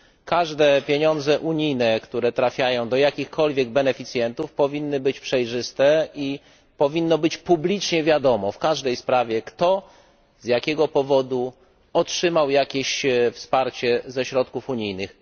Każde pieniądze unijne, które trafiają do jakichkolwiek beneficjentów, powinny być przejrzyste i powinno być publicznie wiadomo w każdej sprawie, kto i z jakiego powodu otrzymał jakieś wsparcie ze środków unijnych.